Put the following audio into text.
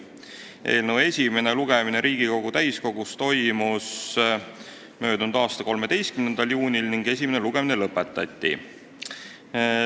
Eelnõu esimene lugemine Riigikogu täiskogus toimus möödunud aasta 13. juunil ning esimene lugemine lõpetati.